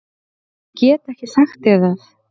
Ég get ekki sagt þér það.